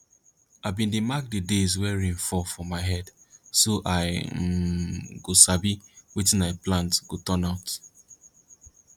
i bin dey mark the days wey rain fall for my head so i um go sabi wetin i plant go turn out